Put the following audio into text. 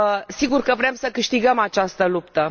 Sigur că vrem să câștigăm această luptă.